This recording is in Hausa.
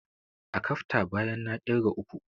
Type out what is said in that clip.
Akafta, bayan na ƙirga uku!